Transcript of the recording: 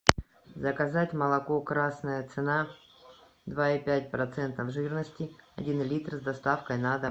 заказать молоко красная цена два и пять процентов жирности один литр с доставкой на дом